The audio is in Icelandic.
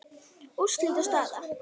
Úrslit og staða